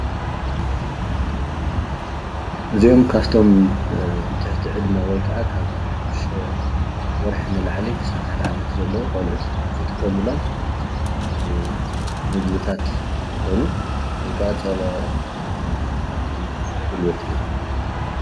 እዚኦም ካፍቶም ትሕቲ ዕድመ ወይከዓ ካብ ሸድሸተ ወርሒ ንላዕሊ ክሳብ ሓደ ዓመት ዘለው ቆልዑት ዝጥቀሙሎም ምግብታት እንትኾኑ ወይ ከዓ ፀባ ወሃብቲ ጉልበት እዮሞ።